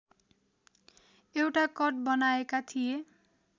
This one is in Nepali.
एउटा कट बनाएका थिए